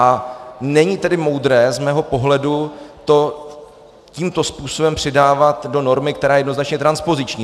A není tedy moudré z mého pohledu to tímto způsobem přidávat do normy, která je jednoznačně transpoziční.